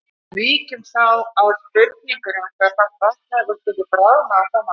Víkjum þá að spurningunni um hve hratt Vatnajökull gæti bráðnað á komandi árum.